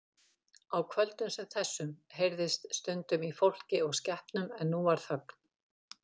Á kvöldum sem þessu heyrðist stundum í fólki og skepnum en nú var þögn.